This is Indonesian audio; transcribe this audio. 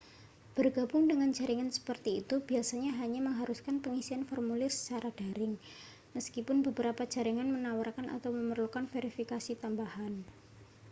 bergabung dengan jaringan seperti itu biasanya hanya mengharuskan pengisian formulir secara daring meskipun beberapa jaringan menawarkan atau memerlukan verifikasi tambahan